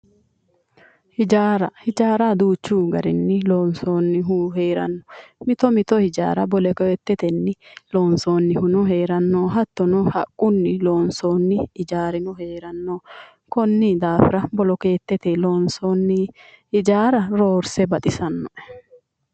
Hijaara hijaara duuchu garinni loonsoonnihu heeranno mito mito hijaara bolokeettetenni loonsoonnihuno heeranno hattono haqqunni lonsoonni hijaarino heeranno konni daafira bolokeetete loonsoonni hijaara roorse baxisanno"e